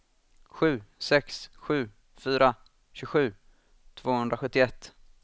sju sex sju fyra tjugosju tvåhundrasjuttioett